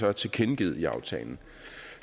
har tilkendegivet i aftalen